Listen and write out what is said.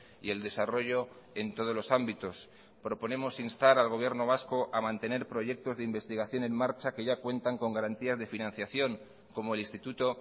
y el desarrollo en todos los ámbitos proponemos instar al gobierno vasco a mantener proyectos de investigación en marcha que ya cuentan con garantías de financiación como el instituto